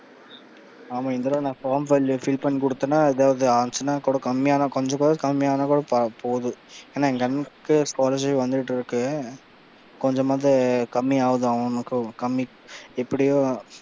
ஆமா இந்த தடவ நான் form fill பண்ணி கொடுத்தன்னா ஏதாவது ஆச்சுன்னா கூட கொஞ்சம் கூட கம்மி ஆனா கூட போதும். ஏன்னா எங்க அண்ணனுக்கு scholarship வந்துட்டு இருக்கு. கொஞ்சமாவது கம்மி ஆகுது அவனுக்கு கம்மி எப்படியோ,